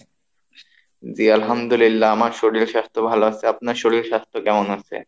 জি আলহামদুলিল্লাহ আমার শরীর স্বাস্থ্য ভালো আছে, আপনার শরীর স্বাস্থ্য কেমন আছে?